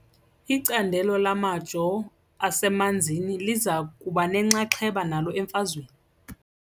Icandelo lamajoo asemanzini liza kuba nenxaxheba nalo emfazweni.